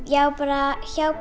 já bara hjá